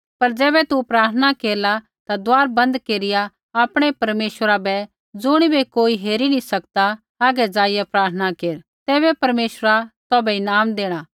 पर ज़ैबै तू प्रार्थना केरला ता दुआर बन्द केरिया आपणै परमेश्वरा बै ज़ुणिबै कोई हेरी नी सकदा हागै जाईया प्रार्थना केर तैबै परमेश्वरा तौभै ईनाम देणा